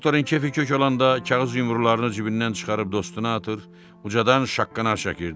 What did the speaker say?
Doktorun kefi kök olanda kağız yumrularını cibindən çıxarıb dostuna atır, ucadan şaqqanaq çəkirdi.